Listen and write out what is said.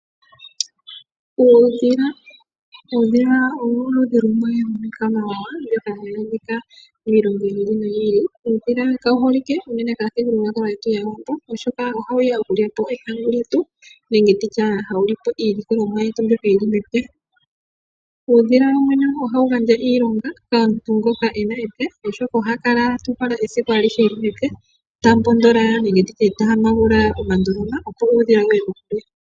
Uudhila owo oludhi lumwe lwiikwamawawa mbyoka hayi adhika miilongo yi ili noyi ili. Uudhila kawu holike unene pamuthigululwakalo gwetu gwAawambo oshoka ohawu okulya po ehawo lyetu nenge nditye hawu lipo iilikolomwa yetu mbyoka yili mepya. Uudhila wo wene ohawu gandja iilonga komuntu ngoka ena epya, oshoka oha kala ta uhala esiku alihe eli mepya ta mbondola, nenge nditye ta hampagula omandoloma opo uudhila wuye kokule.